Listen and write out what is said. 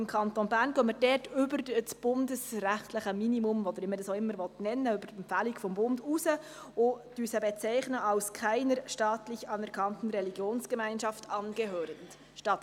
Im Kanton Bern gehen wir über das bundesrechtliche Minimum – wie man es auch immer nennen will – oder über der Empfehlung des Bundes hinaus und bezeichnen die Kategorie statt «konfessionslos» als «keiner staatlich anerkannten Religionsgemeinschaft angehörend.